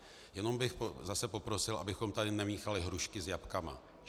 Jenom bych zase poprosil, abychom tady nemíchali hrušky a jablka.